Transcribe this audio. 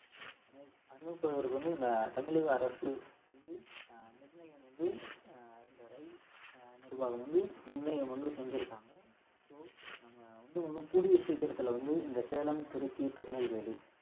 அமைப்பதற்கு வந்து இந்த தமிழக அரசு வந்து அஹ் நிர்ணயம் வந்து ஆஹ் இந்த ரயில் அஹ் நிர்வாகம் வந்து நிர்ணயம் வந்து செஞ்சிருக்காங்க so நம்ம வந்து இன்னும் கூடிய சீக்கிரத்துல வந்து இந்த சேலம் திருச்சி திருநெல்வேலி